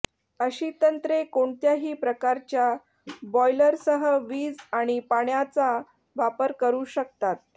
अशी तंत्रे कोणत्याही प्रकारच्या बॉयलरसह वीज आणि पाण्याचा वापर करू शकतात